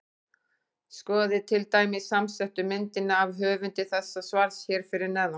Skoðið til dæmis samsettu myndina af höfundi þessa svars hér fyrir neðan.